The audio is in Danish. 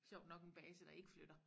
Sjovt nok en base der ikke flytter